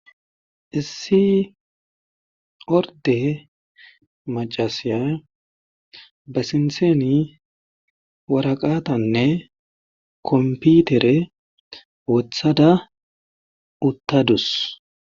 issi orde macasiya ba sintheni waraqatanne komputere wothada uttadus